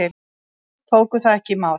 Tóku það ekki í mál.